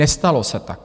Nestalo se tak.